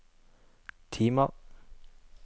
timer